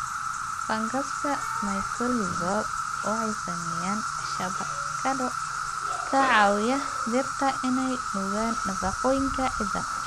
Fangaska Mycorrhizal waxay sameeyaan shabakado ka caawiya dhirta inay nuugaan nafaqooyinka ciidda.